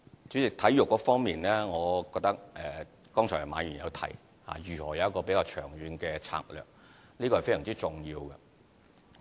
主席，在體育方面，馬議員剛才提及到如何有一個比較長遠的策略，我覺得這是非常重要的。